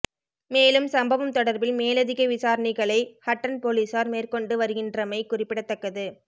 மேலும் சம்பவம் தொடர்பில் மேலதிக விசாரணைகளை ஹட்டன் பொலிஸார் மேற்கொண்டு வருகின்றமை குறிப்பிடதக்கது